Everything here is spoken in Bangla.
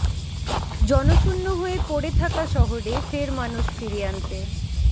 জনশূন্য হয়ে পড়ে থাকা শহরে ফের মানুষ ফিরিয়ে আনতে